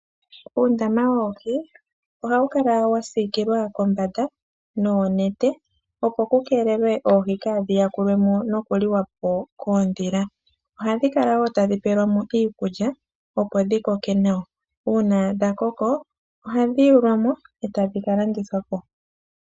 Uundama woohi oha wu kala wasiikililwa kombanda noonete opo dhikeelele oohi kaadhi ya kulwe mo koondhila dhoka hadhi li oohi. Oohi ohadhi pelwa mo nee iikulya opo dhikoke nawa nuuna nee dhakoko ohadhi kala ndithwa po nee opo aantu ya monemo iimaliwa yawo.